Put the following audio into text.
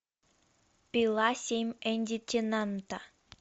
пила семь энди теннанта